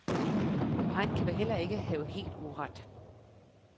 Og han kan vel ikke have helt uret.